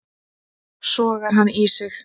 Sogar hann í sig.